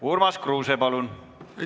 Urmas Kruuse, palun!